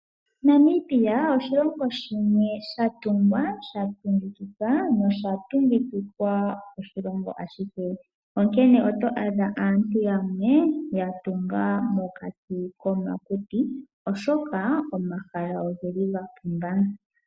Namibia oshilongo shimwe sha tunga sha tungikika. Onkene oto adha aantu yamwe ya tunga momakuti oshoka omahala oga pumba.